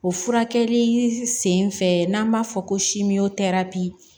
O furakɛli sen fɛ n'an b'a fɔ ko